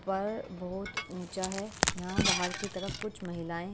पर बहोत ऊंचा है यहाँ बाहर की तरफ कुछ महिलायें --